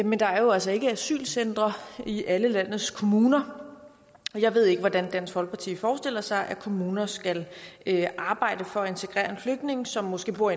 men der er altså ikke asylcentre i alle landets kommuner jeg ved ikke hvordan dansk folkeparti forestiller sig at kommuner skal arbejde for at integrere en flygtning som måske bor